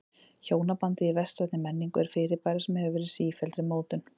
Hjónabandið í vestrænni menningu er fyrirbæri sem hefur verið í sífelldri mótun.